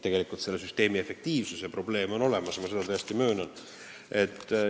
Tegelikult on selle süsteemi efektiivsuse probleem olemas, ma seda täiesti möönan.